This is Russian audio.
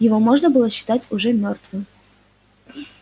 его можно было считать уже мёртвым